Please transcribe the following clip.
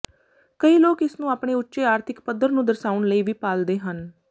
ਕਈ ਲੋਕ ਇਸ ਨੂੰ ਆਪਣੇ ਉੱਚੇ ਆਰਥਿਕ ਪੱਧਰ ਨੂੰ ਦਰਸਾਉਣ ਲਈ ਵੀ ਪਾਲਦੇ ਹਨ